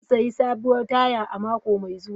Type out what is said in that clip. Zan sayi sabuwar taya mako mai zuwa.